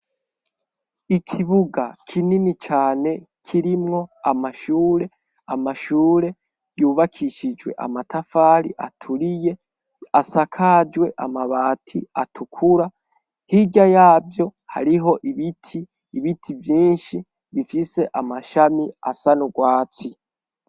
Ikibuga kinini cane kirimwo amashure, amashure yubakishijwe amatafari aturiye, asakajwe amabati atukura, hirya yavyo hariho ibiti, ibiti vyinshi bifise amashami asa n'urwatsi.